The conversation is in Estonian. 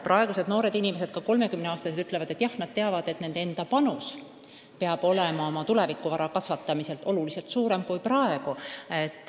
Praegused noored inimesed, sh ka kolmekümneaastased ütlevad, et jah, nad teavad, et nende enda panus oma tulevikuvara kasvatamisel peab olema oluliselt suurem.